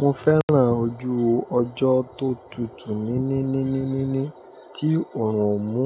Mo fẹ́ràn ojú ọjọ́ tó tutù níí níí níí níí níí ní tí òòrùn ò mú